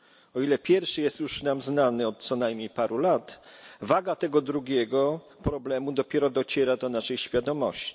O ile pierwszy jest już nam znany od co najmniej paru lat, waga tego drugiego problemu dopiero dociera do naszej świadomości.